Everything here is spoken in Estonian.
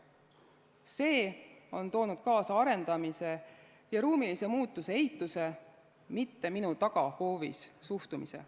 See on toonud kaasa arendamise ja ruumilise muutuse eituse, mitte-minu-tagahoovis-suhtumise.